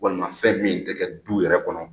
Walima fɛn min tɛ kɛ du yɛrɛ kɔnɔ